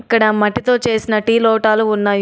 ఇక్కడ మట్టితో చేసిన టీ లోటాలు ఉన్నాయి.